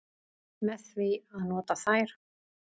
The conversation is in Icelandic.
Með því að nota þær.